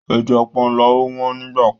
Ẹja panla ò wọ́n nígbà kan.